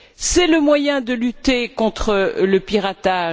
C'est le moyen de lutter contre le piratage.